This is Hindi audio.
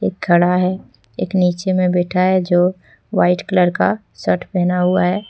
खड़ा है एक नीचे में बैठा है जो वाइट कलर का शर्ट पहना हुआ है।